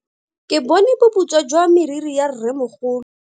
Ke bone boputswa jwa meriri ya rremogolo.